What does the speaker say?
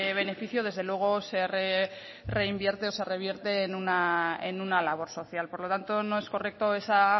beneficio desde luego se reinvierte o se revierte en una labor social por lo tanto no es correcto esa